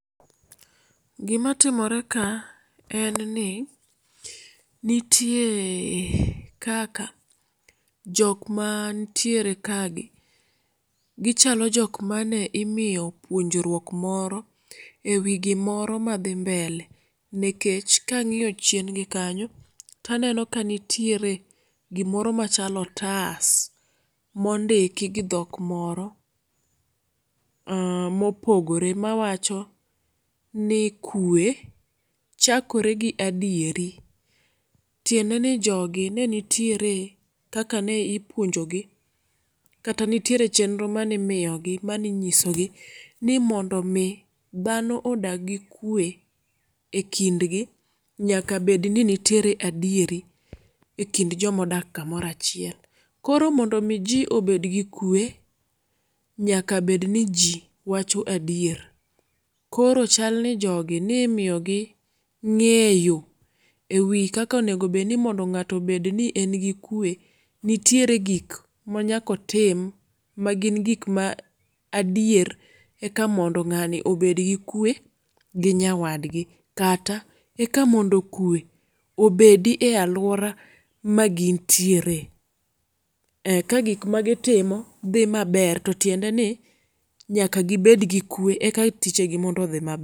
Gima timoreka en ni nitie kaka jok mantiere kagi gichalo jok mane imiyo puonjruok moro ewi gimoro madhi mbele nikech kang'iyo chiengi kanyo to aneno kanitiere gimoro machalo otas mondiki gi dhok moro mm mopogore mawacho ni kwe chakore gi adieri. Tiendeni jogi nenitiere kaka ne ipuonjogi kata nitiere chenro mane imiyogi mane inyisogi ni mondo mi dhano odag gi kwe ekindgi nyaka bedni nitiere adieri ekind joma odak kamoro achiel. Koro mondo mi ji obed gi kwe, nyaka bedni ji wacho adier koro chalni jogi ni miyogi ng'eyo ewi kaka onego beni ng'ato obedni engi kwe nitiere gik manyaka otim ma gin gik ma adier eka ng'ani obedgi kwe gi nyawadgi. Kata eka mondo kwe obedi e aluora magintiere. Kagik magi timo dhi maber to tiendeni nyaka gi bed gi kwe eka tije mondo odhi mab